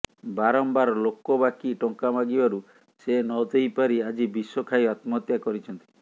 ବାରମ୍ବାର ଲୋକ ବାକି ଟଙ୍କା ମାଗିବାରୁ ସେ ନ ଦେଇ ପାରି ଆଜି ବିଷ ଖାଇ ଆତ୍ମହତ୍ୟା କରିଛନ୍ତି